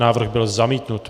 Návrh byl zamítnut.